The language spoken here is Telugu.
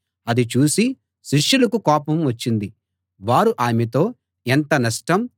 అది చూసి శిష్యులకు కోపం వచ్చింది వారు ఆమెతో ఎంత నష్టం